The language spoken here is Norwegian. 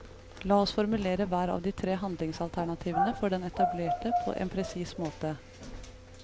La oss formulere hver av de tre handlingsalternativene for den etablerte på en presis måte.